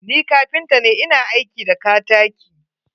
Ni kapinta ne, ina aiki da ktaki.